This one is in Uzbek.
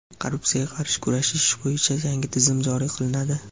korrupsiyaga qarshi kurashish bo‘yicha yangi tizim joriy qilinadi.